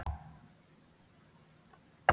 Gunnhildur er frábær.